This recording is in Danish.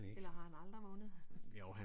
Eller har han aldrig vundet?